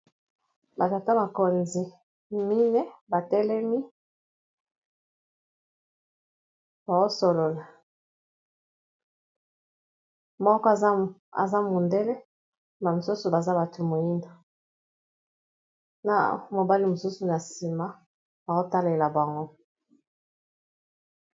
Ba tata bakonzi minene batelemi baosolola moko aza mundele ba misusu baza bato moyinda na mobali mosusu na nsima akotalela bango